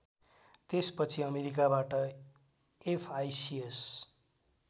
त्यसपछि अमेरिकाबाट एफआइसिएस